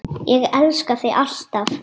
Ég elska þig, alltaf.